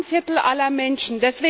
Das ist ein Viertel aller Menschen.